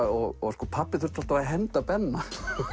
og sko pabbi þurfti alltaf að henda Benna